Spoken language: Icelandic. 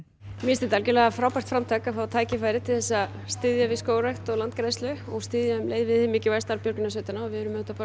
mér finnst þetta frábært framtak að fá tækifæri til að styðja við skógrækt og landgræðslu og styðja um leið við hið mikilvæga starf björgunarsveitanna við